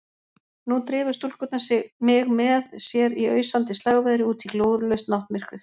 Nú drifu stúlkurnar mig með sér í ausandi slagveðri útí glórulaust náttmyrkrið.